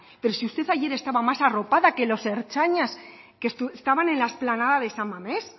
pero si usted ayer estaba más arropada que los ertzainas que estaban en la explanada de san mamés